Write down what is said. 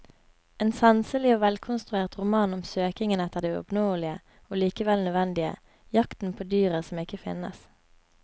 En sanselig og velkonstruert roman om søkingen etter det uoppnåelige og likevel nødvendige, jakten på dyret som ikke finnes.